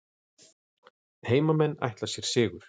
Heimamenn ætla sér sigur